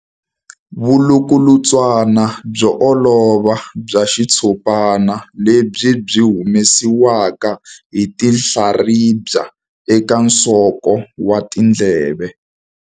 Vulukulutswana byo olova bya xitshopana lebyi byi humesiwaka hi tinhlaribya eka nsoko wa ndleve.